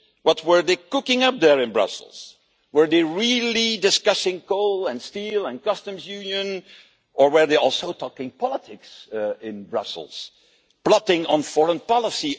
What were they cooking up there in Brussels, were they really discussing coal and steel and customs union, or were they also talking politics in Brussels, plotting on foreign policy?